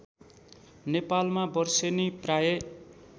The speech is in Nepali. नेपालमा बर्सेनी प्रायः